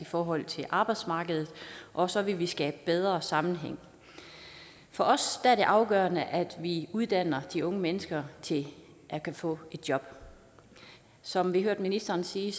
i forhold til arbejdsmarkedet og så vil vi skabe bedre sammenhæng for os er det afgørende at vi uddanner de unge mennesker til at kunne få et job som vi hørte ministeren sige